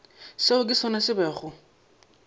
seo ke sona se bego